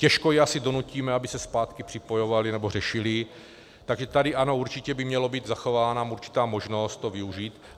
Těžko je asi donutíme, aby se zpátky připojovali nebo řešili, takže tady ano, určitě by měla být zachována určitá možnost to využít.